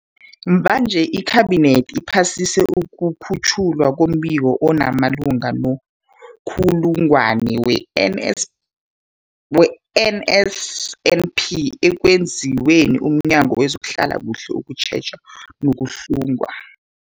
Mvanje, iKhabinethi iphasise ukukhutjhwa kombiko omalungana no-kuhlungwa kwe-NS kwe-NSNP okwenziwe mNyango wezokuHlela, ukuTjheja nokuHlunga.